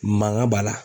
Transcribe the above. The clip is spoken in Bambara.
Mankan b'a la